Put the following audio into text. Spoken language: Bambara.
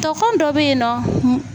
Togɔn dɔ bɛ yen nɔ